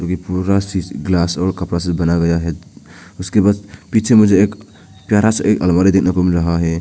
यह पूरा शीशे ग्लास और कपड़ा से बनाया गया है उसके बाद पीछे मुझे एक प्यारा सा एक अलमारी देखने को मिल रहा है।